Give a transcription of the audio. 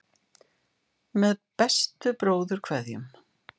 Með bestu bróðurkveðjum.